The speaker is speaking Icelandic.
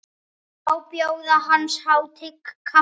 Má bjóða hans hátign kaffi?